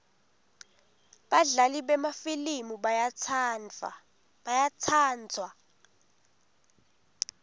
badlali bemafilimu bayatsandzwa